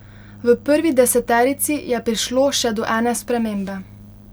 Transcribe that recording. V prvi deseterici je prišlo še do ene spremembe.